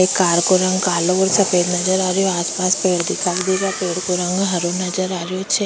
एक कार को रंग कालो और सफ़ेद नजर आ रह्यो आस पास पेड़ दिखाई दे रहा पेड़ का रंग हरो नजर आ रहीयो छे।